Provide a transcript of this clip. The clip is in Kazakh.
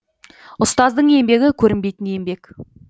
ұстаздың еңбегі көрінбейтін еңбек